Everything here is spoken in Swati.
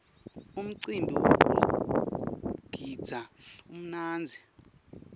umcimbi wekugidza umnandzi